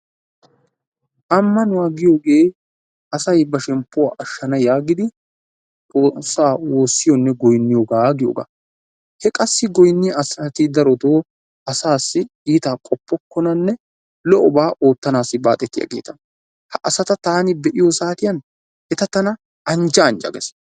Ammanuwa giyogee asayi ba shemppuw ashshan giidi XOOSSAA woossiyonne goyinniyoga giyogaa. He qassi goyinniya asati darotoo asaassii iitaa qoppokkonanne lo"obaa oottanaassi baaxetiyageeta ha asata taani be"iyo saatiyan eta tana anjja anjja ges.